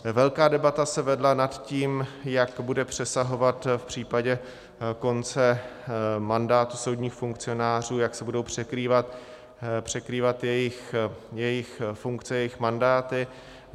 Velká debata se vedla o tom, jak bude přesahovat v případě konce mandátu soudních funkcionářů, jak se budou překrývat jejich funkce, jejich mandáty.